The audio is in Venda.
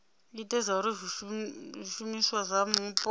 ite zwauri zwishumiswa zwa mupo